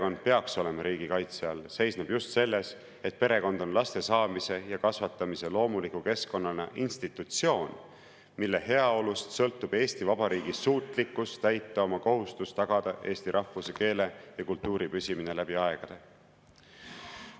Põhjus, miks perekond peaks olema riigi kaitse all, seisneb just selles, et perekond on laste saamise ja kasvatamise loomuliku keskkonnana institutsioon, mille heaolust sõltub Eesti Vabariigi suutlikkus täita oma kohustust tagada eesti rahvuse, keele ja kultuuri püsimine läbi aegade.